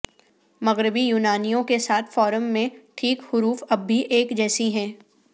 مغربی یونانیوں کے ساتھ فارم میں ٹھیک حروف اب بھی ایک جیسی ہیں